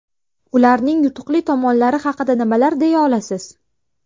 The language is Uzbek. Ularning yutuqli tomonlari haqida nimalar deya olasiz?